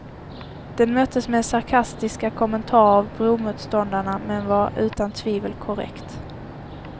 Den möttes med sarkastiska kommentarer av bromotståndarna men var utan tvivel korrekt.